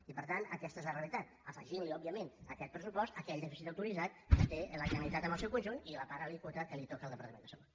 i per tant aquesta és la realitat afegint òbviament a aquest pressupost aquell dèficit autoritzat que té la generalitat en el seu conjunt i la part alíquota que toca al departament de salut